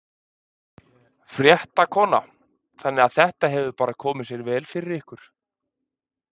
Fréttakona: Þannig að þetta hefur bara komið sér vel fyrir ykkur?